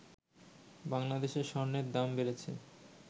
বাংলাদেশে স্বর্ণের দাম বেড়েছে